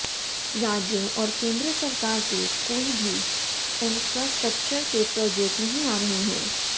राज्य और केन्द्र सरकार के कोई भी इन्फ्रास्ट्रक्चर के प्रोजेक्ट नहीं आ रहे हैं